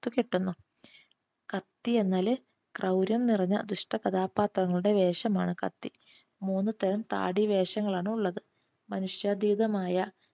കെട്ടുന്നു. കത്തി എന്നാൽ ക്രൗര്യം നിറഞ്ഞ ദുഷ്ട കഥാപാത്രങ്ങളുടെ വേഷമാണ് കത്തി. മൂന്നു തരം താടി വേഷങ്ങളാണ് ഉള്ളത് മനുഷ്യാതീതമായ